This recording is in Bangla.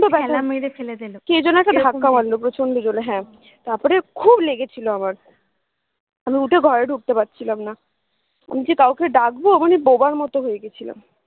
কে যেন একটা ধাক্কা মারলো প্রচন্ড জোরে হ্যা তারপরে খুব লেগেছিলো আমার আমি উঠে ঘরে ঢুকতে পারছিলাম না আমি যে কাউকে ডাকবো বোবার মতো হয়ে গেছিলাম